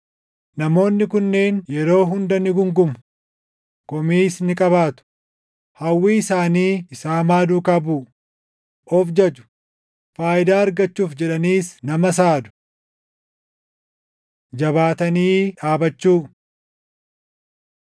Namoonni kunneen yeroo hunda ni guungumu; komiis ni qabaatu; hawwii isaanii isa hamaa duukaa buʼu; of jaju; faayidaa argachuuf jedhaniis nama saadu. Jabaatanii Dhaabachuu